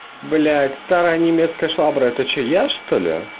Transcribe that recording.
блядь старая немецкая швабра это что я что ли